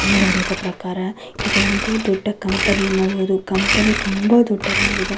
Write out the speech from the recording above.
ನಾನು ನೋಡಿದ ಪ್ರಕಾರ ಇದೊಂದು ದೊಡ್ಡ ಕಂಪನಿ ಅನ್ನಬಹುದು. ಕಂಪನಿ ತುಂಬ ದೊಡ್ಡದಾಗಿದೆ.